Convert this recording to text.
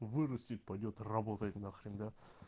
вырастет пойдёт работать нахрен да